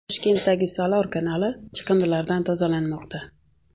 Toshkentdagi Salor kanali chiqindilardan tozalanmoqda .